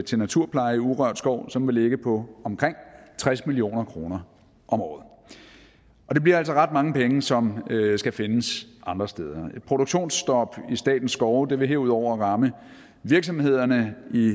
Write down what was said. til naturpleje i urørt skov som vil ligge på omkring tres million kroner om året og det bliver altså ret mange penge som skal findes andre steder et produktionsstop i statens skove vil herudover ramme virksomhederne i